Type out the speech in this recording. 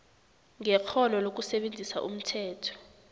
nekghono lokusebenzisa umthetho